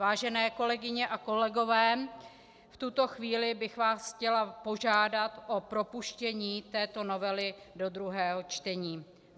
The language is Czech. Vážené kolegyně a kolegové, v tuto chvíli bych vás chtěla požádat o propuštění této novely do druhého čtení.